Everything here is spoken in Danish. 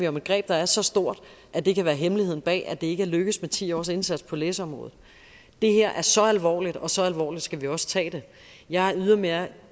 om et greb der er så stort at det kan være hemmeligheden bag at det ikke er lykkedes med ti års indsats på læseområdet det her er så alvorligt og så alvorligt skal vi også tage det jeg er ydermere